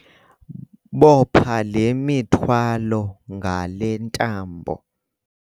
Bopha le mithwalo ngale ntambo.